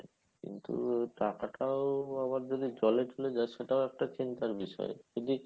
আবার টাকাটাও আবার যদি জলে চলে যায় সেটাও একটা চিন্তার বিষয় যদি